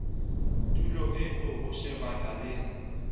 tulo eo ho shebana le